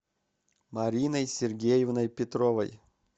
мариной сергеевной петровой